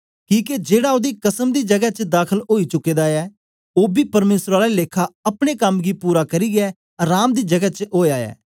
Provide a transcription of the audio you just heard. किके जेड़ा ओदी अराम दी जगै च दाखल ओई चुके दा ऐ ओ बी परमेसर आला लेखा अपने कम गी पूरा करियै अराम दी जगै च ओया ऐ